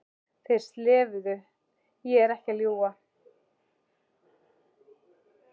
Þeir slefuðu, ég er ekki að ljúga!